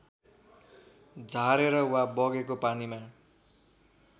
झारेर वा बगेको पानीमा